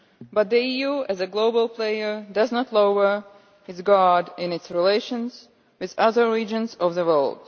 But the EU, as a global player, does not lower its guard in its relations with other regions of the world.